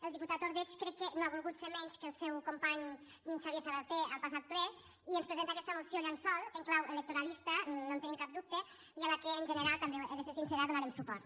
el diputat ordeig crec que no ha volgut ser menys que el seu company xavier sabaté al passat ple i ens presenta aquesta moció llençol en clau electoralista no en tenim cap dubte i a la qual en general també he de ser sincera donarem suport